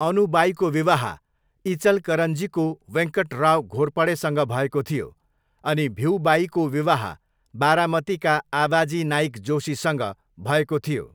अनुबाईको विवाह इचलकरञ्जीको वेङ्कटराव घोरपडेसँग भएको थियो अनि भिउबाईको विवाह बारामतीका आबाजी नाइक जोशीसँग भएको थियो।